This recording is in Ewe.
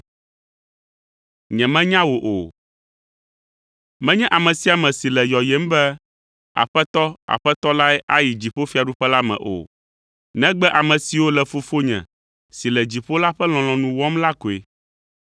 “Menye ame sia ame si le yɔyem be, ‘Aƒetɔ, Aƒetɔ’ lae ayi dziƒofiaɖuƒe la me o, negbe ame siwo le Fofonye si le dziƒo la ƒe lɔlɔ̃nu wɔm la koe.